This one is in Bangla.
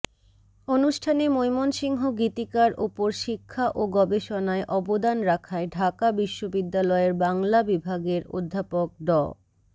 অনুষ্ঠানে মৈমনসিংহ গীতিকার ওপর শিক্ষা ও গবেষণায় অবদান রাখায় ঢাকা বিশ্ববিদ্যালয়ের বাংলা বিভাগের অধ্যাপক ড